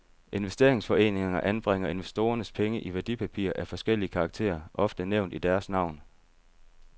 Investeringsforeningerne anbringer investorernes penge i værdipapirer af forskellig karakter, ofte nævnt i deres navn.